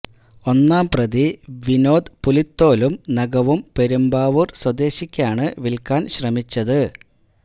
ഒന്നാം പ്രതി വിനോദ് പുലിത്തോലും നഖവും പെരുമ്പാവൂര് സ്വദേശിയ്ക്ക് വില്ക്കാനാണ് ശ്രമിച്ചത്